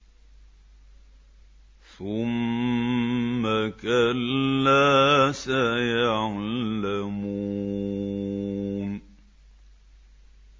ثُمَّ كَلَّا سَيَعْلَمُونَ